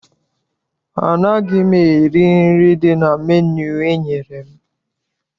Anaghị m eri nri dị na menu enyere m.